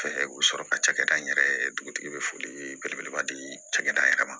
Fɛ u bɛ sɔrɔ ka cakɛda in yɛrɛ dugutigi bɛ foli belebeleba di cakɛda yɛrɛ ma